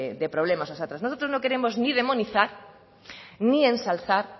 de problemas nosotros no queremos ni demonizar ni ensalzar